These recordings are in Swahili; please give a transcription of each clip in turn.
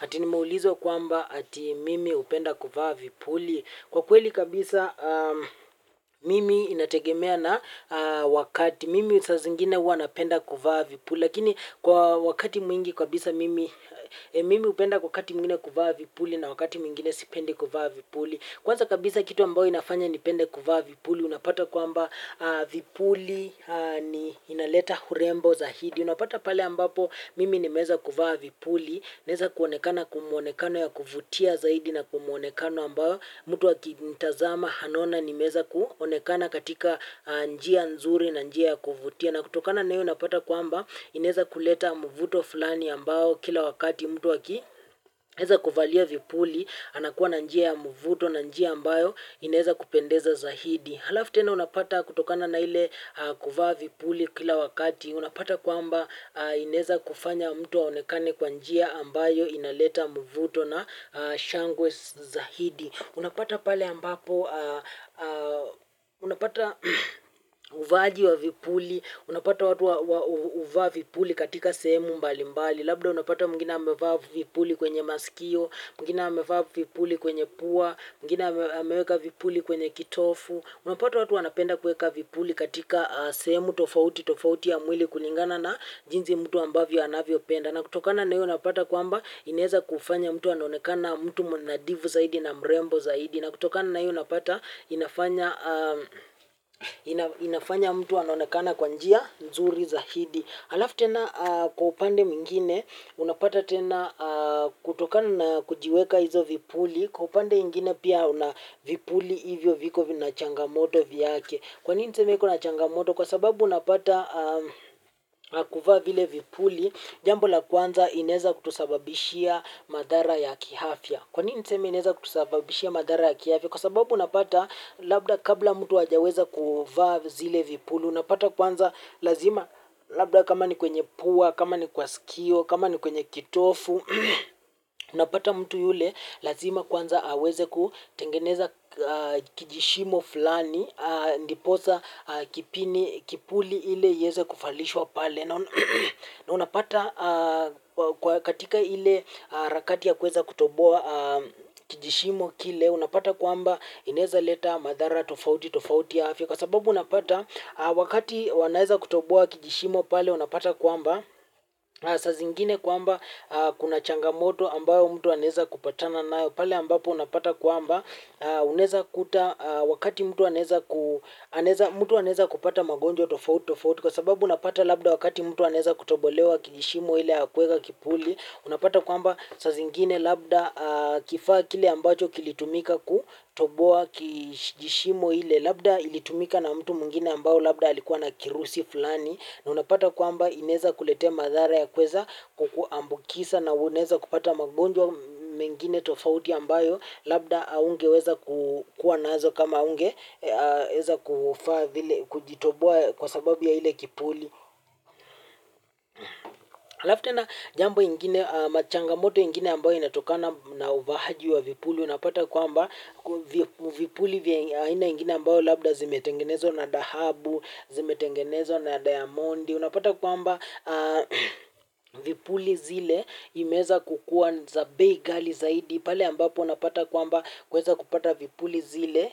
Ati nimeulizwa kwamba ati mimi hupenda kuvaa vipuli. Kwa kweli kabisa mimi inategemea na wakati mimi saa zingine huwa napenda kuvaa vipuli. Lakini kwa wakati mwingi kabisa mimi mimi hupenda kwa wakati mwingine kuvaa vipuli na wakati mwingine sipendi kuvaa vipuli. Kwanza kabisa kitu ambayo inafanya nipende kuvaa vipuli unapata kwamba vipuli inaleta urembo zaidi. Unapata pale ambapo mimi nimeeza kuvaa vipuli, naeza kuonekana kwa muonekano ya kuvutia zaidi na kwa muonekano ambayo. Mtu akinitazama anaona nimeeza kuonekana katika njia nzuri na njia ya kuvutia. Na kutokana na hio unapata kwamba inaeza kuleta mvuto fulani ambao kila wakati. Mtu akieza kuvalia vipuli, anakuwa na njia ya mvuto na njia ambayo inaeza kupendeza zaidi. Alafu tena unapata kutokana na ile kuvaa vipuli kila wakati. Unapata kwamba inaeza kufanya mtu aonekane kwa njia ambayo inaleta mvuto na shangwe zaidi. Unapata pale ambapo, unapata uvaaji wa vipuli, unapata watu wa huvaa vipuli katika sehemu mbalimbali. Labda unapata mwingine amevaa vipuli kwenye masikio, mwingine amevaa vipuli kwenye pua, mwingine ameweka vipuli kwenye kitovu. Unapata watu wanapenda kuweka vipuli katika sehemu tofautitofauti ya mwili kulingana na jinsi mtu ambavyo anavyopenda. Na kutokana na hiyo unapata kwamba inaezakufanya mtu anonekana mtu mnadhifu zaidi na mrembo zaidi. Na kutokana na hiyo napata inafanya mtu anaonekana kwa njia nzuri zaidi. Alafu tena kwa upande mwingine, unapata tena kutokana na kujiweka hizo vipuli, kwa upande ingine pia una vipuli hivyo viko vina changamoto vyake. Kwa nini niseme iko na changamoto, kwa sababu unapata kuvaa vile vipuli, jambo la kwanza inaeza kutusababishia madhara ya kiafya. Kwa nini niseme inaeza kutusababishia madhara ya kiafya? Kwa sababu unapata labda kabla mtu hajaweza kuvaa zile vipuli, unapata kwanza lazima labda kama ni kwenye pua, kama ni kwa sikio, kama ni kwenye kitovu, unapata mtu yule lazima kwanza aweze kutengeneza kijishimo fulani, ndiposa kipuli ile ieze kuvalishwa pale. Na unapata kwa katika ile harakati ya kuweza kutoboa kijishimo kile unapata kuamba inaeza leta madhara tofauti tofauti ya afya kwa sababu unapata wakati wanaeza kutoboa kijishimo pale unapata kwamba saa zingine kwamba kuna changamoto ambayo mtu anaeza kupatana nayo pale ambapo unapata kwamba unaeza kuta wakati mtu anaeza kupata magonjwa tofauti tofauti kwa sababu unapata labda wakati mtu anaeza kutobolewa kijishimo ile ya kuweka kipuli unapata kwamba saa zingine labda kifaa kile ambacho kilitumika kutoboa kijishimo ile labda ilitumika na mtu mwingine ambao labda alikuwa na kirusi fulani na unapata kwamba inaeza kuletea madhara ya kuweza kukuambukiza na unaeza kupata magonjwa mengine tofauti ambayo labda haungeweza kukuwa nazo kama hungeweza kujitoboa kwa sababu ya ile kipuli. Alafu tena jambo ingine ama changamoto ingine ambayo inatokana na uvaaji wa vipuli unapata kwamba vipuli vya aina ingine ambayo labda zimetengenezwa na dhahabu, zimetengenezwa na diamond unapata kwamba vipuli zile imeweza kukuwa za bei ghali zaidi pale ambapo unapata kwamba kuweza kupata vipuli zile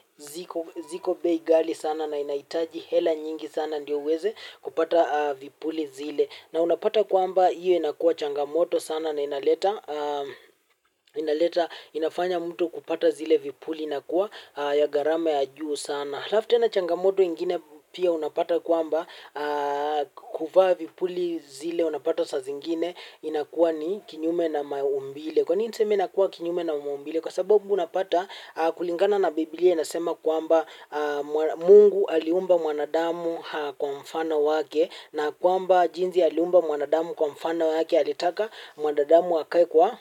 ziko bei ghali sana na inahitaji hela nyingi sana ndio uweze kupata vipuli zile na unapata kwamba hiyo inakuwa changamoto sana na inaleta inafanya mtu kupata zile vipuli inakuwa ya gharama ya juu sana alafu tena changamoto ingine pia unapata kwamba kuvaa vipuli zile unapata saa zingine inakuwa ni kinyume na maumbile kwa ni niseme inakuwa kinyume na maumbile kwa sababu unapata kulingana na Biblia inasema kwamba Mungu aliumba mwanadamu kwa mfano wake na kwamba jinsi aliumba mwanadamu kwa mfano wake alitaka mwanadamu akae kwa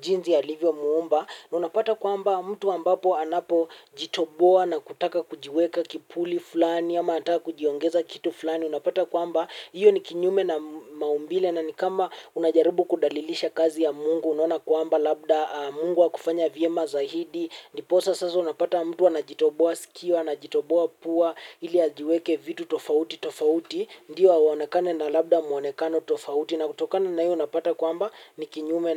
jinsi alivyomuumba. Na unapata kwamba mtu ambapo anapojitoboa na kutaka kujiweka kipuli fulani ama anataka kujiongeza kitu fulani unapata kwamba hiyo ni kinyume na maumbile na ni kama unajaribu kudalilisha kazi ya Mungu unaona kwamba labda Mungu hakufanya vyema zaidi ndiposa sasa unapata mtu anajitoboa sikio anajitoboa pua ili ajiweke vitu tofauti tofauti ndio aonekane na labda muonekano tofauti na kutokana na hiyo unapata kwamba ni kinyume na.